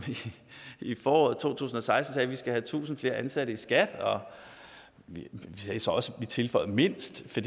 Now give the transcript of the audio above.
i foråret to tusind og seksten sagde at vi skal have tusind flere ansatte i skat vi tilføjede mindst